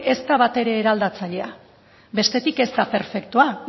ez da batere eraldatzailea bestetik ez da perfektua